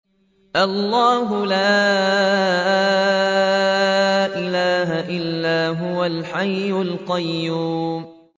اللَّهُ لَا إِلَٰهَ إِلَّا هُوَ الْحَيُّ الْقَيُّومُ